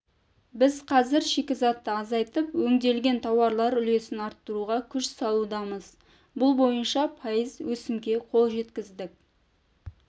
біз қазір шикізатты азайтып өңделген тауарлар үлесін арттыруға күш салудамыз бұл бойынша пайыз өсімге қол жеткіздік